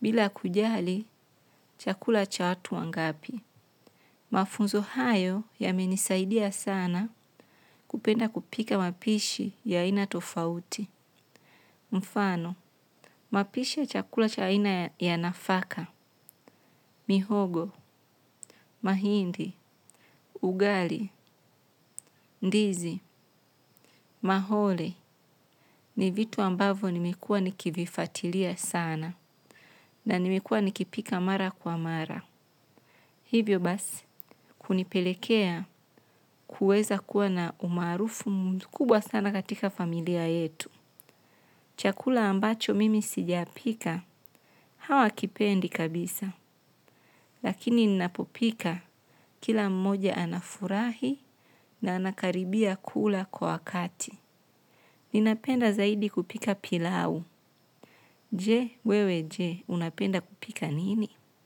bila kujali chakula cha watu wangapi. Mafunzo hayo yamenisaidia sana kupenda kupika mapishi ya aina tofauti. Mfano, mapisha chakula cha aina ya nafaka, mihogo, mahindi, ugali, ndizi, mahole ni vitu ambavyo nimekuwa nikivifatilia sana na nimekuwa nikipika mara kwa mara. Hivyo basi, kunipelekea kuweza kuwa na umaarufu mkubwa sana katika familia yetu. Chakula ambacho mimi sujapika hawakipendi kabisa lakini ninapo pika kila mmoja anafurashi na anakaribia kula kwa wakati. Ninapenda zaidi kupika pilau. Je, wewe je, unapenda kupika nini?